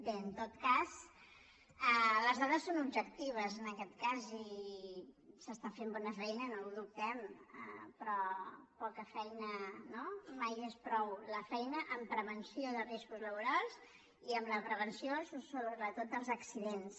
bé en tot cas les dades són objectives en aquest cas i s’està fent bona feina no ho dubtem però poca feina no mai és prou la feina en prevenció de riscos laborals i en la prevenció sobretot dels accidents